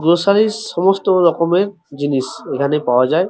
গ্রোসারির সমস্ত রকমের জিনিস এখানে পাওয়া যায়।